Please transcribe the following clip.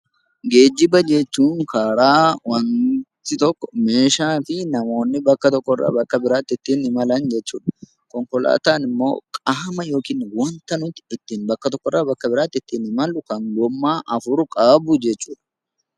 Geejjiba jechuun karaa waanti tokko meeshaa fi namoonni bakka tokko irraa bakka biraatti ittiin imalan jechuudha. Konkolaataan immoo qaama yookaan waanta nuti ittin bakka tokko irraa bakka biraatti ittin imallu kan gommaa afur qabu jechuudha.